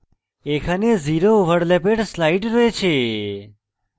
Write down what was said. এখানে zero ওভারল্যাপের slide রয়েছে